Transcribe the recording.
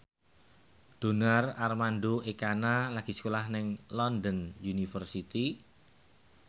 Donar Armando Ekana lagi sekolah nang London University